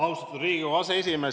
Austatud Riigikogu aseesimees!